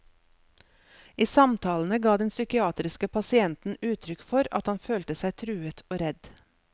I samtalene ga den psykiatriske pasienten uttrykk for at han følte seg truet og redd.